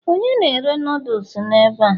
onye na-ere noodles n'ebe a?